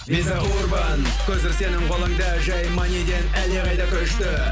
виза урбан көзір сенің қолыңда жай маниден әлдеқайда күшті